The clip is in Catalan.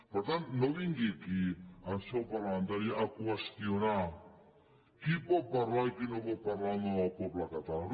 per tant no vingui aquí en seu parlamentària a qüestionar qui pot parlar i qui no pot parlar en nom del poble català